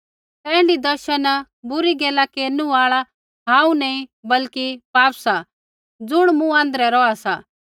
ता ऐण्ढी दशा न बुरी गैला केरनु आल़ा हांऊँ नैंई बल्कि पाप सा ज़ुण मूँ आँध्रै रौहा सा